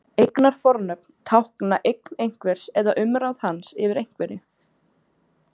Eignarfornöfn tákna eign einhvers eða umráð hans yfir einhverju.